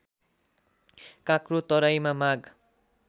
काँक्रो तराईमा माघ